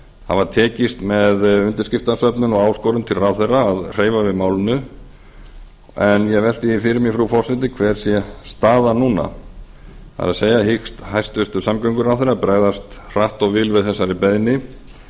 hafa tekist með undirskriftasöfnun og áskorun til ráðherra að hreyfa við málinu en ég velti fyrir mér frú forseti hver staðan sé núna hyggst hæstvirtur samgönguráðherra bregðast hratt og vel við þessari beiðni